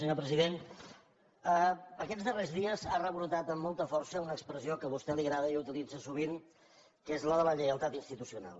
senyor president aquests darrers dies ha rebrotat amb molta força una expressió que a vostè li agrada i utilitza sovint que és la de la lleialtat institucional